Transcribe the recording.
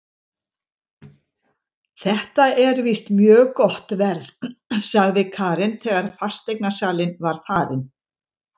Þetta er víst mjög gott verð, sagði Karen þegar fasteignasalinn var farinn.